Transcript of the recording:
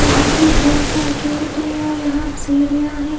यहां पे grill gate है और यहां सीढ़ियां है।